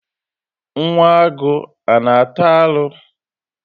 Nwa agụ ana ata arụ?